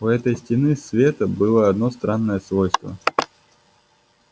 у этой стены света было одно странное свойство